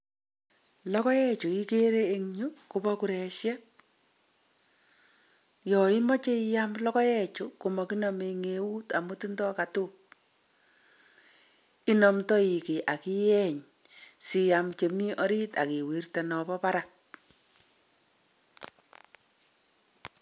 Logoek chu igere en yu ko bo kuresiet. Yo imoche iyam logoechu ko makinome eng' eut amu tindoi katook. Inomdoi kiy akiyeny siam chemi oriit ak iwirte nombo barak.